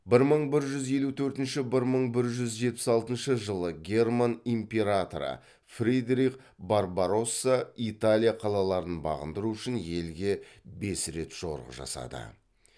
бір мың бір жүз елу төртінші бір мың бір жүз жетпіс алтыншы жылы герман императоры фридрих барбаросса италия қалаларын бағындыру үшін елге бес рет жорық жасады